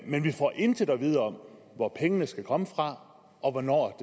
men vi får intet at vide om hvor pengene skal komme fra og hvornår